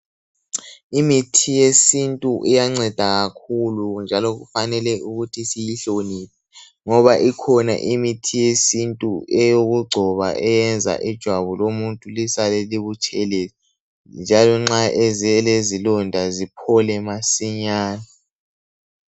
Imithi yesintu iyanceda kakhulu njalo kufanele ukuthi siyihloniphe ngoba ikhona imithi yesintu eyokugcoba eyenza ijwabu lomuntu lisale libutshelezi njalo nxa elezilonda ziphole masinyane .